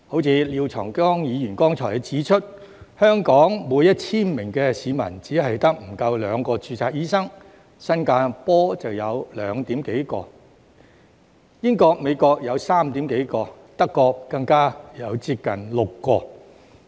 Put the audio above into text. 正如廖長江議員剛才指出，香港每 1,000 名市民只有不足兩名註冊醫生，新加坡有2點幾名，英國和美國有3點幾名，德國更有接近6名。